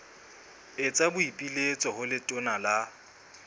etsa boipiletso ho letona la